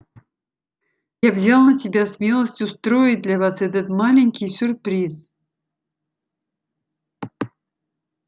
я взял на себя смелость устроить для вас этот маленький сюрприз